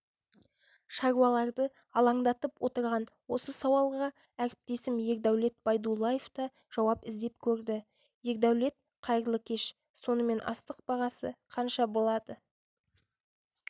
шаруаларды алаңдатып отырған осы сауалға әріптесім ердәулет байдуллаев та жауап іздеп көрді ердәулет қайырлы кеш сонымен астық бағасы қанша болады